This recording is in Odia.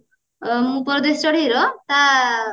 ପରଦେଶୀ ଚଢେଇର ତା